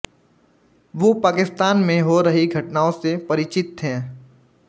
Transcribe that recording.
वो पाकिस्तान में हो रही घटनाओं से परिचित थे